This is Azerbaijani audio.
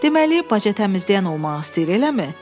Deməli, baca təmizləyən olmaq istəyir, eləmi?